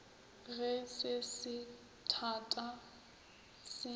ge se se thata se